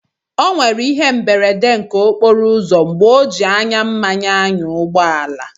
O nwèrè ihé mberede okporo ụzọ mgbè ọ ji ányá mmanya n'ányà ụgbọ àlà